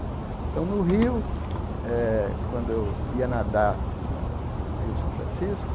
Então, no rio eh, quando eu ia nadar no rio São Francisco,